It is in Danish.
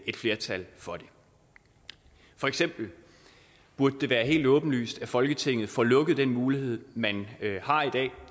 et flertal for det for eksempel burde det være helt åbenlyst at folketinget får lukket den mulighed man har i dag